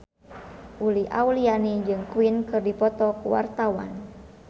Uli Auliani jeung Queen keur dipoto ku wartawan